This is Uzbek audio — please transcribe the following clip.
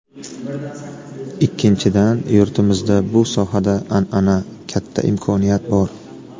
Ikkinchidan, yurtimizda bu sohada an’ana, katta imkoniyat bor.